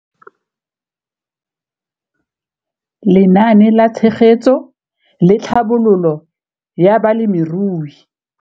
Lenaane la Tshegetso le Tlhabololo ya Balemirui.